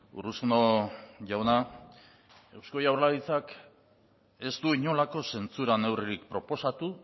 urruzuno jauna eusko jaurlaritzak ez du inolako zentzura neurririk proposatu